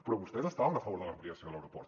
però vostès estaven a favor de l’ampliació de l’aeroport